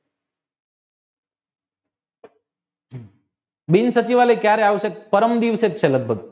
બિનસચિવાલય કયારે આવશે પરમ દિવસે જ છે લગભગ